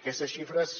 aquestes sigles